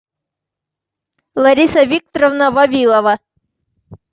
лариса викторовна вавилова